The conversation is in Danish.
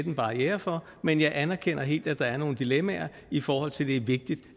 en barriere for men jeg anerkender helt at der er nogle dilemmaer i forhold til at det er vigtigt